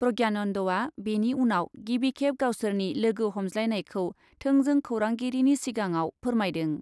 प्रज्ञानन्दआ बेनि उनाव गिबिखेब गावसोरनि लोगो हमज्लायनायखौ थोंजों खौरांगिरिनि सिगाङाव फोरमायदों।